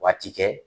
Waati kɛ